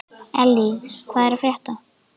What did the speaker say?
Elly, hvað er að frétta?